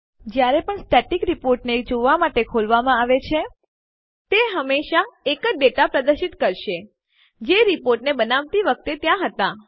જયારે પણ સ્ટેટિક રીપોર્ટને જોવાં માટે ખોલવામાં આવે છે તે હંમેશા એ જ ડેટા પ્રદર્શિત કરશે જે રીપોર્ટ બનાવતી વખતે ત્યાં હતા